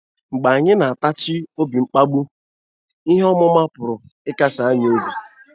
Mgbe anyị na-atachi obi mkpagbu, ihe ọmụma pụrụ ịkasi anyị obi?